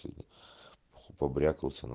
чит побрякался на